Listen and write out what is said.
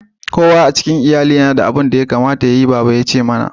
Kowa a cikin lyalli ya na da abin da ya kamata yayi, baba ya ce mana.